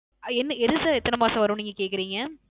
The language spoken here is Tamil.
அஹ் என்ன எது Sir எத்தன மாசம் வரும் னு நீங்க கேக்குறிங்க